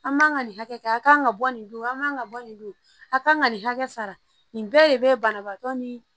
An man ka nin hakɛ a kan ka bɔ nin don a man ka bɔ nin don a kan ka nin hakɛ sara nin bɛɛ de bɛ banabaatɔ ni